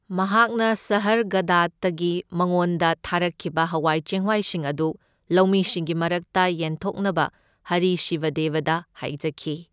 ꯃꯍꯥꯥꯛꯅ ꯁꯥꯍꯔꯒꯥꯗꯇꯒꯤ ꯃꯉꯣꯟꯗ ꯊꯥꯔꯛꯈꯤꯕ ꯍꯋꯥꯢ ꯆꯦꯡꯋꯥꯢꯁꯤꯡ ꯑꯗꯨ ꯂꯧꯃꯤꯁꯤꯡꯒꯤ ꯃꯔꯛꯇ ꯌꯦꯟꯊꯣꯛꯅꯕ ꯍꯔꯤ ꯁꯤꯕꯗꯦꯕꯗ ꯍꯥꯢꯖꯈꯤ꯫